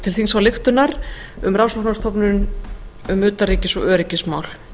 til þingsályktunar um rannsóknarstofnun um utanríkis og öryggismál